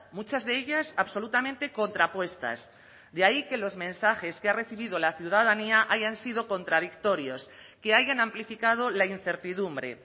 muchas de ellas absolutamente contrapuestas de ahí que los mensajes que ha recibido la ciudadanía hayan sido contradictorios que hayan amplificado la incertidumbre